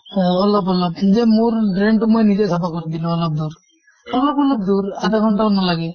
অহ অলপ অলপ নিজে মোৰ drain টো মই নিজে চাফা কৰি দিলো অলপ দূৰ। অলপ অলপ দূৰ, আধা ঘন্টাও নালাগে।